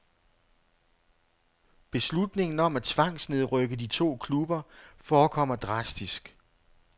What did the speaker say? Beslutningen om at tvangsnedrykke de to klubber forekommer drastisk.